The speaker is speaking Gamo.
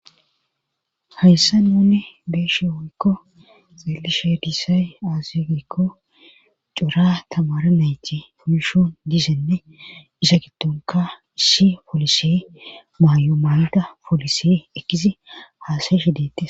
hayssa nunne beeshe wonkko xellishedisay aazegikko cora tamara nayti puysho disenne isa gitonka isshi polise maayo maanda polisee ekkisi haasayishi deette